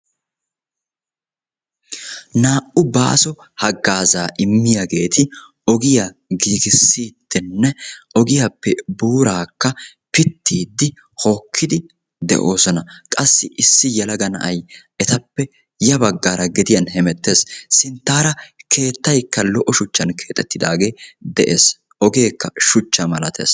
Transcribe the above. Naa"u baaso haggaazaa immiyageeti ogiya giggissidinne ogiyappe buuraakka pittiidi hokkidi de'oosona. Qassi issi yelaga na'ay etappe ya baggaara gediyan hemettees, sinttaara keettaykka lo"o shuchchan keexxettidaagee de'ees, ogeekka shuchcha malaatees.